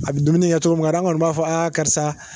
A bɛ dumuni kɛ cogo ma ka an kɔni b'a fɔ aa karisa